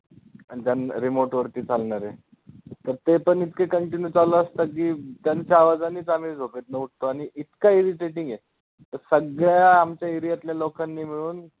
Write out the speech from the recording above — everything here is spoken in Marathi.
आणि ते remote वरती चालणारे तर ते पण इतके continue चालू असतात की त्यांच्या आवाजानेच आम्ही झोपेतनं उठतो आणि इतकं irritating आहे, सगळ्या आमच्या area तल्या लोकांनी मिळून